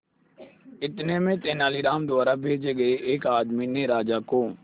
इतने में तेनालीराम द्वारा भेजे गए एक आदमी ने राजा को